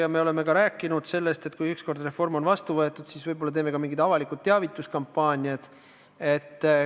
Ja me oleme rääkinud ka sellest, et kui ükskord reform on vastu võetud, siis võib-olla me teeme ka mingid avalikud teavituskampaaniad.